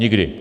Nikdy.